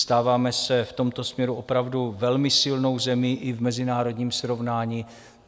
Stáváme se v tomto směru opravdu velmi silnou zemí i v mezinárodním srovnání.